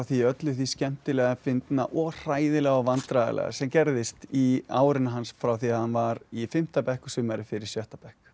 öllu því skemmtilega fyndna og hræðilega og vandræðalega sem gerðist í árinu hans frá því hann var í fimmta bekk og sumarið fyrir sjötta bekk